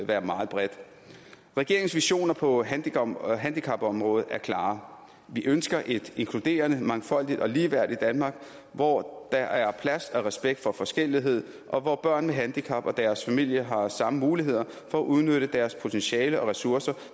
være meget bredt regeringens visioner på handicapområdet handicapområdet er klare vi ønsker et inkluderende mangfoldigt og ligeværdigt danmark hvor der er plads til og respekt for forskellighed og hvor børn med handicap og deres familier har samme muligheder for at udnytte deres potentiale og ressourcer